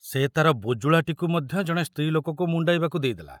ସେ ତାର ବୁଜୁଳାଟିକୁ ମଧ୍ୟ ଜଣେ ସ୍ତ୍ରୀ ଲୋକକୁ ମୁଣ୍ଡାଇବାକୁ ଦେଇ ଦେଲା।